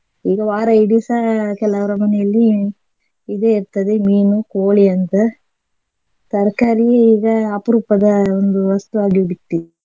ಈಗ ವಾರ ಇಡೀ ಸಹ ಕೆಲವ್ರ ಮನೆಯಲ್ಲಿ ಇದೇ ಇರ್ತದೆ ಮೀನು ಕೋಳಿ ಅಂತ ತರ್ಕಾರಿ ಈಗ ಅಪರೂಪದ ಒಂದು ವಸ್ತುವಾಗಿ ಬಿಟ್ಟಿದೆ.